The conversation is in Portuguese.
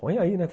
Põe aí, né?